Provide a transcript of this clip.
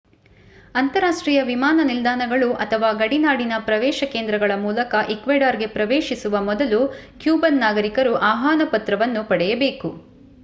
ಅಂತರರಾಷ್ಟ್ರೀಯ ವಿಮಾನ ನಿಲ್ದಾಣಗಳು ಅಥವಾ ಗಡಿನಾಡಿನ ಪ್ರವೇಶ ಕೇಂದ್ರಗಳ ಮೂಲಕ ಈಕ್ವೆಡಾರ್‌ಗೆ ಪ್ರವೇಶಿಸುವ ಮೊದಲು ಕ್ಯೂಬನ್ ನಾಗರಿಕರು ಆಹ್ವಾನ ಪತ್ರವನ್ನು ಪಡೆಯಬೇಕು